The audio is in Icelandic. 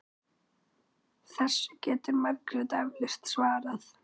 Þessu getur Margrét eflaust svarað.